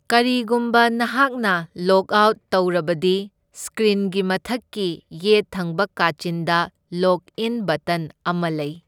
ꯀꯔꯤꯒꯨꯝꯕ ꯅꯍꯥꯛꯅ log out ꯇꯧꯔꯕꯗꯤ, ꯁꯀ꯭ꯔꯤꯟꯒꯤ ꯃꯊꯛꯀꯤ ꯌꯦꯠ ꯊꯪꯕ ꯀꯥꯆꯤꯟꯗ ꯂꯣꯒ ꯏꯟ ꯕꯇꯟ ꯑꯃ ꯂꯩ꯫